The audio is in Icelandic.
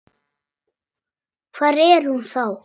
Hvar er hún þá?